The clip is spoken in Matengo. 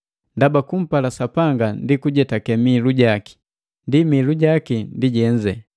ndaba kumpala Sapanga ndi kujetake mihilu jaki. Ni mihilu jaki ndi jenze,